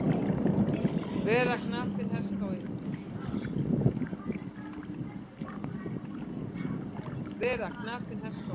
Vera knapinn herskái.